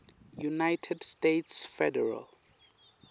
united states federal